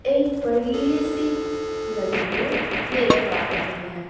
एक बड़ी सी नदी को देख पा रहे हैं।